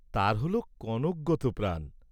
তাঁর হোল কনকগত প্রাণ।